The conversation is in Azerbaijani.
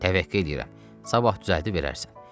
Təvəqqə eləyirəm, sabah düzəldib verərsən.